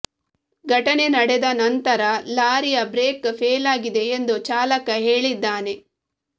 ಘಟನೆ ನಡೆದ ನಂತರ ಲಾರಿಯ ಬ್ರೇಕ್ ಫೇಲಾಗಿದೆ ಎಂದು ಚಾಲಕ ಹೇಳಿದ್ದಾನೆ